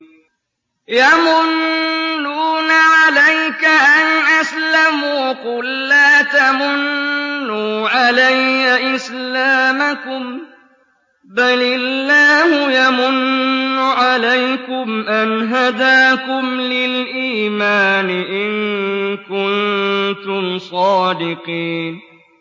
يَمُنُّونَ عَلَيْكَ أَنْ أَسْلَمُوا ۖ قُل لَّا تَمُنُّوا عَلَيَّ إِسْلَامَكُم ۖ بَلِ اللَّهُ يَمُنُّ عَلَيْكُمْ أَنْ هَدَاكُمْ لِلْإِيمَانِ إِن كُنتُمْ صَادِقِينَ